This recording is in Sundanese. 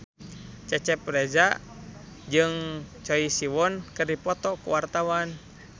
Cecep Reza jeung Choi Siwon keur dipoto ku wartawan